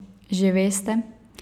Že veste?